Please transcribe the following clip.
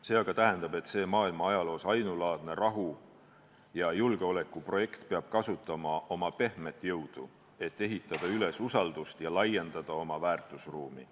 See aga tähendab, et see maailma ajaloos ainulaadne rahu- ja julgeolekuprojekt peab kasutama oma pehmet jõudu, et ehitada üles usaldust ja laiendada oma väärtusruumi.